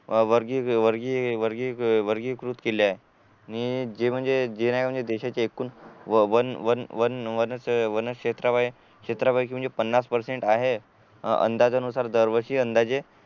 अह वर्गीय वर्गीय वर्गीय वर्गीय कृत केले आहे मी जे नाय म्हणजे देशाची एकूण वन वन वन वन वन क्षेत्र वयानं क्षेत्रापैकी म्हणजे पन्नास पर्सेंट आहे अंदाजानुसार दरवर्षी अंदाजे